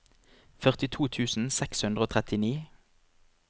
førtito tusen seks hundre og trettini